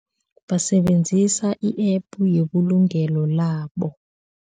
Basebenzisa i-app yebulungelo labo.